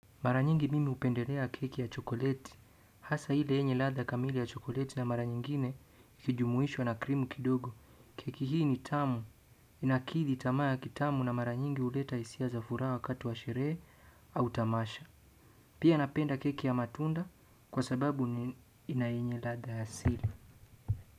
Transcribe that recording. Mara nyingi mimi hupendelea keki ya chokoleti hasa ile yenye ladha kamili ya chokoleti na mara nyingine ikijumuishwa na cream kidogo. Keki hii ni tamu. Inakiri tamaa ya kitamu na mara nyingi huleta hisia za furaha wakati wa sherehe au tamasha. Pia napenda keki ya matunda kwa sababu ni ina yenye ladha ya asili.